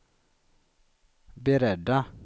beredda